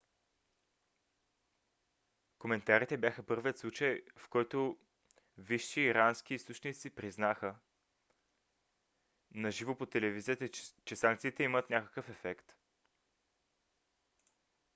коментарите бяха първият случай в който висши ирански източници признаха на живо по телевизията че санкциите имат някакъв ефект